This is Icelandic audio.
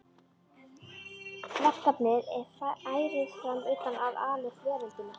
Verkefnið er ærið fram undan að ala upp veröldina.